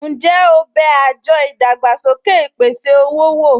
Ǹjẹ́ o bẹ àjọ ìdàgbàsókè ìpèsè-owó wò?